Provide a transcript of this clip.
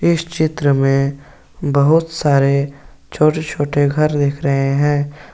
इस चित्र में बहुत सारे छोटे छोटे घर दिख रहे हैं।